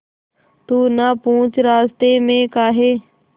तू ना पूछ रास्तें में काहे